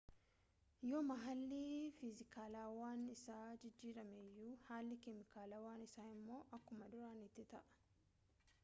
yooma haalli fiizikaalawaan isaa jijjiirame iyyuu haalli keemikaalawaan isaa immoo akkuma duraaniitti ta'a